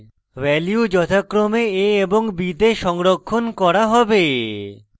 value যথাক্রমে a এবং b the সংরক্ষণ করা হবে